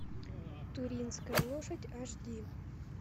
туринская лошадь аш ди